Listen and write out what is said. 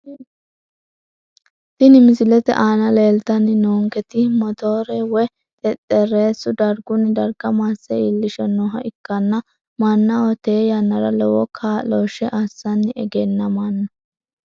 Tini misilete aana leeltani noonketi motoore woyi xexerisu darguni darga masse iilishanoha ikanna manaho tee yanara lowo kaaloshe asani egenamano.